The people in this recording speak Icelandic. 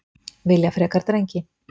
Vilja frekar drengi